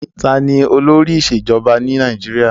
Ta ni olóri ìṣèjọba ni Nàìjíríà?